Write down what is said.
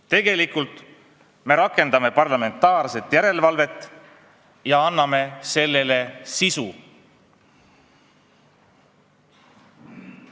Tegelikult me rakendame praegu parlamentaarset järelevalvet ja anname sellele sisu.